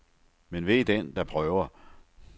Men ve den, der prøver.